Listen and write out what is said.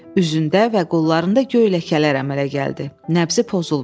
Üzündə və qollarında göy ləkələr əmələ gəldi, nəbzi pozuldu.